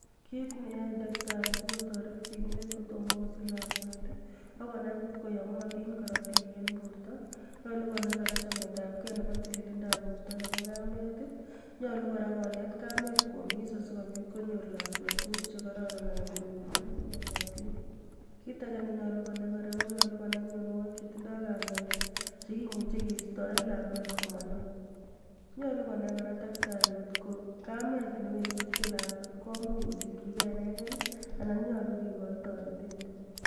Kit ne yae daktari si kotoret sigindet kotomo kosich lakwet ko konai ko koyomotin korotik eng borto, nyolu kora konai chametabgei nebo tilililndab borto nebo kamet, nyolu kora konet kamet kwomis si kobit konyor lakwet tukuk che kororon anan konyor tukuk cheyomotin. Kit age ne nyolu konai kora ko mionwogik che tindoi kamet che kemuchi keistoen lakwet ko manan. Nyolu konai daktari kok ko kamet ne wengi kosich lakwet ko much kosichigei inegei anan nyolu kekochin toretet.